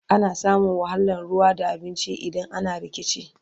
ana samun wahalan ruwa da abinci idan ana rikici